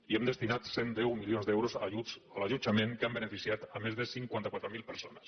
i hem destinat cent i deu milions d’euros a ajuts a l’allotjament que han beneficiat més de cinquanta quatre mil persones